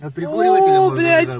прикольные